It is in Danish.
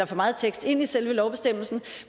for meget tekst ind i selve lovbestemmelsen